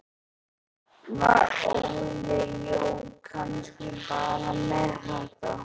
Var Óli Jó kannski bara ekki með þetta?